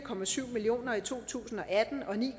million kroner i to tusind og atten og ni